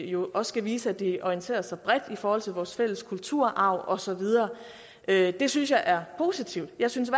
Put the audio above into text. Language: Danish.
jo også skal vise at de orienterer sig bredt i forhold til vores fælles kulturarv og så videre det det synes jeg er positivt jeg synes at